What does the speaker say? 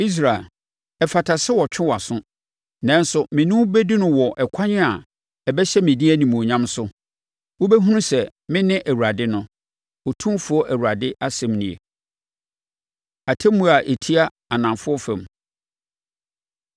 Israel, ɛfata sɛ wɔtwe wʼaso. Nanso mene wo bɛdi no wɔ ɛkwan a ɛbɛhyɛ me din animuonyam so. Wobɛhunu sɛ mene Awurade no, Otumfoɔ Awurade asɛm nie.’ ” Atemmuo A Ɛtia Anafoɔ Fam